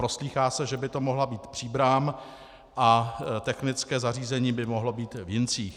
Proslýchá se, že by to mohla být Příbram a technické zařízení by mohlo být v Jincích.